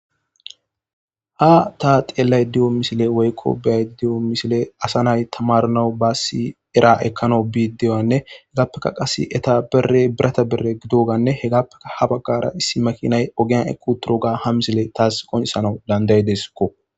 ha ta xeelay diyo misile woykko beay diyo misile asa nay tamarnawu baassi era ekkana bi deyoanne hegappeka qas eta bere birata berre gidoganne hegappeka ha baggara issi makinay ogiyan eku turoga ha misile taas qoncisana danday deskko